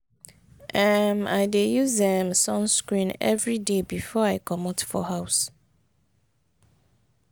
um i dey use um sunscreen everyday before i comot for house.